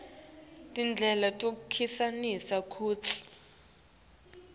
tindlela tekucinisekisa kutsi